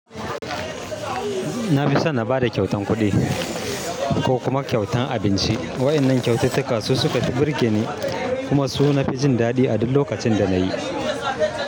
Na fi son na ba da kyautan kuɗi ko kuma kyautan abinci. Waɗannan kyaututtuka su suka fi burge ni kuma su na fi jin daɗi a duk lokacin da na yi.